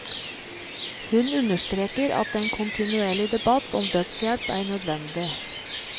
Hun understreker at en kontinuerlig debatt om dødshjelp er nødvendig.